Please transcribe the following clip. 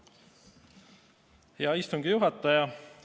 Hea istungi juhataja!